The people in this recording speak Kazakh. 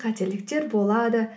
қателіктер болады